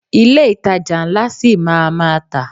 Ilé ìtajà ńlá ṣi máa a má tà.